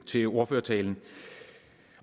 til ordførertalen